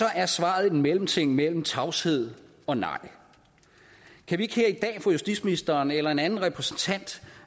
er svaret en mellemting imellem tavshed og nej kan vi ikke her i dag få justitsministeren eller en anden repræsentant